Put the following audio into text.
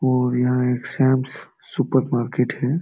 और यहाँ एक सैम्स सुपरमार्केट है।